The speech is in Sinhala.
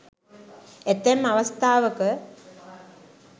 ඇතැම් අවස්ථාවක